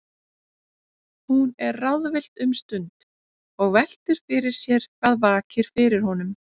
Hún er ráðvillt um stund og veltir fyrir sér hvað vaki fyrir honum.